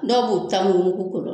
Dow b'u ta mugu mugu k'ɔrɔ